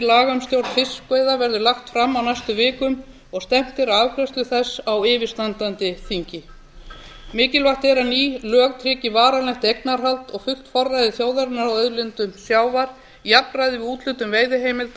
laga um stjórn fiskveiða verði lagt fram á næstu vikum og stefnt er að afgreiðslu þess á yfirstandandi þingi mikilvægt er að lög tryggi varanlegt eignarhald og fullt forræði þjóðarinnar á auðlindum sjávar jafnræði við úthlutun veiðiheimilda